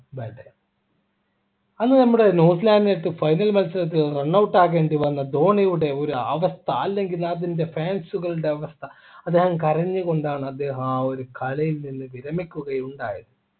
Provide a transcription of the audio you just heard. bad day അന്ന് നമ്മുടെ ന്യൂസിലാൻഡിനെ final മത്സരത്തിൽ run out ആകേണ്ടിവന്ന ധോണിയുടെ ഒരു അവസ്ഥ അല്ലെങ്കിൽ അതിൻ്റെ fans കളുടെ അവസ്ഥ അദ്ദേഹം കരഞ്ഞുകൊണ്ടാണ് അദ്ദേഹം ആ ഒരു കളിയിൽ നിന്ന് വിരമിക്കുകയുണ്ടായത്